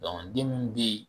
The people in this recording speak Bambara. den munnu de yen.